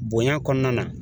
Bonya kɔnɔna na